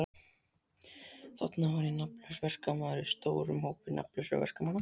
Þarna var ég nafnlaus verkamaður í stórum hópi nafnlausra verkamanna.